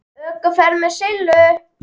ÖKUFERÐ MEÐ SILLU